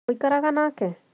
Mũikaraga nake?